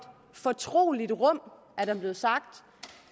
fortroligt rum er der blevet sagt